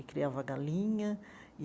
E criava galinha e.